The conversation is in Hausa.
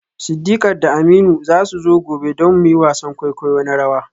Sidiqat da Aminu za su zo gobe don mu yi wasan kwaikwayo na rawa.